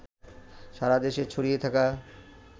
সারা দেশে ছড়িয়ে থাকা